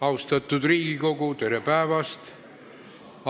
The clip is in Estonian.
Austatud Riigikogu, tere päevast!